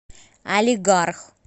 алигарх